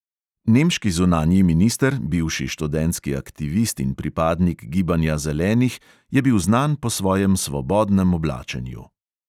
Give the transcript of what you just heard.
Nemški zunanji minister, bivši študentski aktivist in pripadnik gibanja zelenih, je bil znan po svojem svobodnem oblačenju.